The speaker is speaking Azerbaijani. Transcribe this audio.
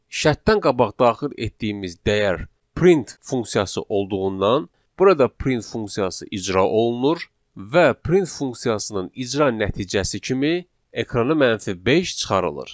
Şərtdən qabaq daxil etdiyimiz dəyər print funksiyası olduğundan, burada print funksiyası icra olunur və print funksiyasının icra nəticəsi kimi ekrana -5 çıxarılır.